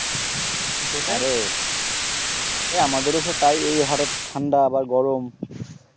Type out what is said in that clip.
এ আমাদেরও সেই তাই এ হঠাৎ ঠান্ডা আবার গরম